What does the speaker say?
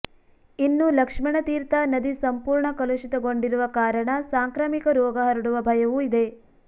ಇನ್ನು ಲಕ್ಷ್ಮಣತೀರ್ಥ ನದಿ ಸಂಪೂರ್ಣ ಕಲುಷಿತಗೊಂಡಿರುವ ಕಾರಣ ಸಾಂಕ್ರಾಮಿಕ ರೋಗ ಹರಡುವ ಭಯವೂ ಇದೆ